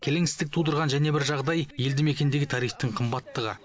келеңсіздік тудырған және бір жағдай елді мекендегі тарифтің қымбаттығы